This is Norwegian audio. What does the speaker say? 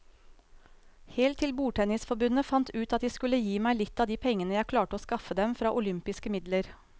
Helt til bordtennisforbundet fant ut at de skulle gi meg litt av de pengene jeg klarte å skaffe dem fra olympiske midler.